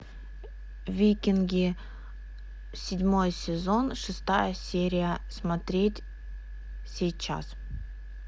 викинги седьмой сезон шестая серия смотреть сейчас